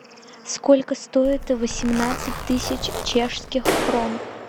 сколько стоит восемнадцать тысяч чешских крон